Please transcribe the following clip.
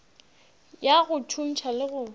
ya go thuntšha le go